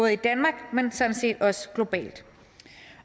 i danmark men sådan set også globalt